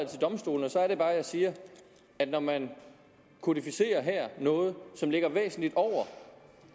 til domstolene og så er det bare jeg siger at når man her kodificerer noget som ligger væsentlig over